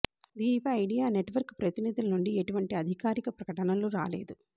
దీనిపై Idea network ప్రతినిధుల నుంచి ఎటువంటి అధికారిక ప్రకటనలు రాలేదు